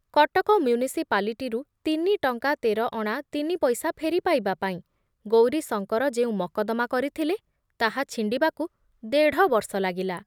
କଟକ ମ୍ୟୁନିସିପାଲିଟିରୁ ତିନିଟଙ୍କା ତେର ଅଣା ତିନି ପଇସା ଫେରିପାଇବା ପାଇଁ ଗୌରୀଶଙ୍କର ଯେଉଁ ମକଦ୍ଦମା କରିଥିଲେ, ତାହା ଛିଣ୍ଡିବାକୁ ଦେଢ଼ବର୍ଷ ଲାଗିଲା ।